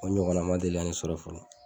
O ɲɔgɔnna ma deli ka ne sɔrɔ fɔlɔ